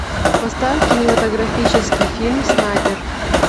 поставь кинематографический фильм снайпер